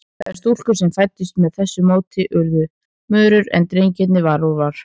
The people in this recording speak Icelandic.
Þær stúlkur sem fæddust með þessu móti urðu mörur, en drengirnir varúlfar.